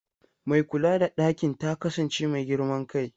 Mai kula da ɗakin ta kasance mai girman kai.